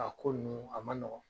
A ko ninnu a nɔgɔn